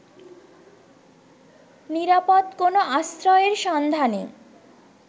নিরাপদ কোনো আশ্রয়ের সন্ধানে